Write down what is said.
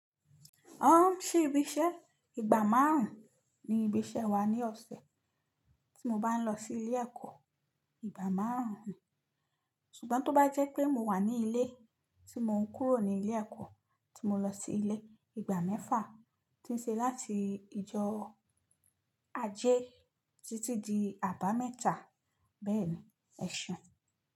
Ṣe ìbíṣẹ́ ìgbà márùn ni ibi iṣẹ́ wa ní ọ̀sẹ̀ tí mo bá ń lọ sí ilé ẹ̀kọ́. Ìgbà márùn ni. Ṣùgbọ́n tó bá jẹ́ pé mo wà ní ilé tí mò ń kúrò ní ilé ẹ̀kọ́ tí mo lọ sí ilé, ìgbà mẹ́fà tí ń ṣe láti ìjọ ajé títí di àbámẹ́ta. Bẹ́ẹ̀ni, ẹ̀ ṣeùn.